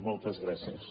moltes gràcies